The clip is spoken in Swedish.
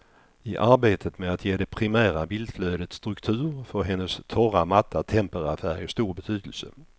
I arbetet med att ge det primära bildflödet struktur får hennes torra, matta temperafärg stor betydelse.